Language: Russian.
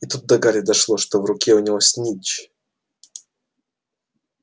и тут до гарри дошло в руке у него снитч